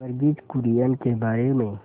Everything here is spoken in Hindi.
वर्गीज कुरियन के बारे में